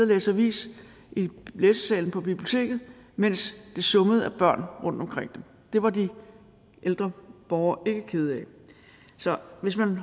læse avis i læsesalen på biblioteket mens det summede af børn rundtomkring dem det var de ældre borgere ikke kede af så hvis man